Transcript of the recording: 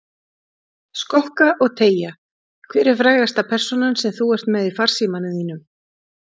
Skokka og teygja Hver er frægasta persónan sem þú ert með í farsímanum þínum?